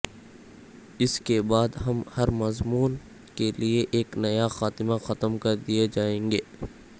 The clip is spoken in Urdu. اس کے بعد ہم ہر مضمون کے لئے ایک نیا خاتمہ ختم کردیئے جائیں گے